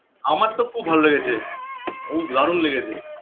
আমার তো খুব ভালো লেগেছে খু দারুণ লেগেছে